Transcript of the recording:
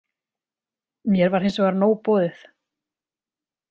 Mér var hins vegar nóg boðið.